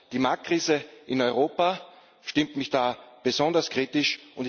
Die Marktkrise in Europa stimmt mich da besonders kritisch.